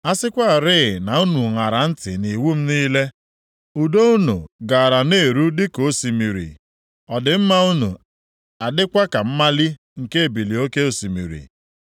A sịkwarị na unu ṅara ntị nʼiwu m niile, udo unu gaara na-eru dịka osimiri, ọdịmma + 48:18 Maọbụ, ezi omume unu adịkwa ka mmali nke ebili oke osimiri.